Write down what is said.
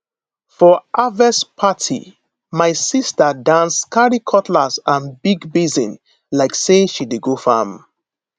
for harvest party my sister dance carry cutlass and big basin like say she dey farm